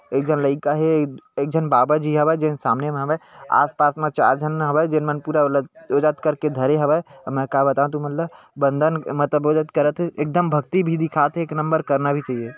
एक झन लइका हे एक झन बाबा जी हवय जेन सामने म हावय आस-पास म चार झन हावय जेन मन पूरा ओ जात करके धरे हवय अउ मैं ह का बताव तु मन ल बंदन मतलब ओ जात करत हे एकदम भक्ति भी दिखात हे एक नंबर करना भी चाहिए--